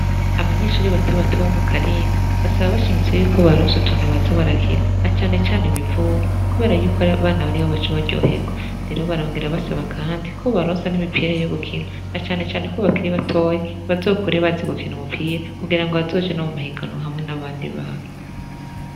Abanyeshure batobato bo mukarinda basaba bashimitse ko bobaronsa utuntu boza barakina na canecane ibivuma kubera yuko abana ariho baca baryoherwa rero barongera basaba kandi ko bobaronsa n'imipira yogukina na canecane ko bakiri batoya bazokure bazi gukina umupira kugira bazoje no muma higanwa hamwe n'abandi bana.